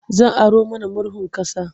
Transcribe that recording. Zan aro mana murhun ƙasa.